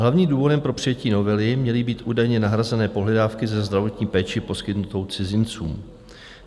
Hlavním důvodem pro přijetí novely měly být údajně nahrazené pohledávky ze zdravotní péče poskytnuté cizincům.